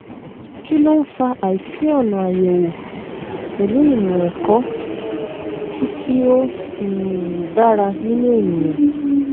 kí ló ń fa àìsí ọnà àyèwò pẹlú ìmọ ẹkọ tí tí ó um dára nínú ènìyàn